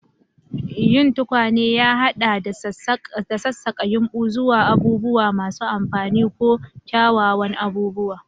Yin tukwane ya haɗa da sassaƙa yumbu zuwa abubuwa masu amfani ko kyawawan abubuwa.